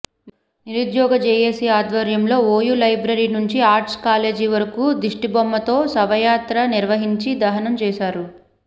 నిరుద్యోగ జేఏసీ ఆధ్వర్యంలో OU library నుంచి ఆర్ట్స్ కాలేజీ వరకు దిష్టిబొమ్మతో శవయాత్ర నిర్వహించి దహనం చేశారు